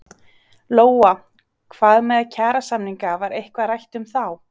Lóa: Hvað með kjarasamninga var eitthvað rætt um þá?